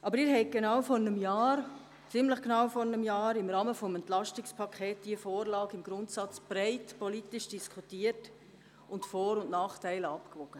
Aber Sie haben diese Vorlage ziemlich genau vor einem Jahr im Rahmen des EP im Grundsatz breit politisch diskutiert und die Vor- und Nachteile abgewogen.